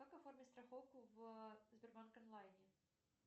как оформить страховку в сбербанк онлайне